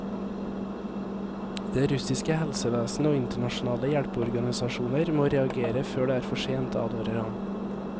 Det russiske helsevesen og internasjonale hjelpeorganisasjoner må reagere før det er for sent, advarer han.